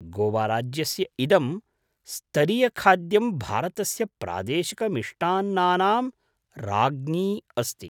गोवाराज्यस्य इदं स्तरियखाद्यं भारतस्य प्रादेशिकमिष्टान्नानां राज्ञी अस्ति।